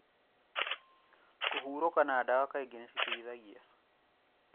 Kũhurũka na dawa kaingĩ nĩ citeithagia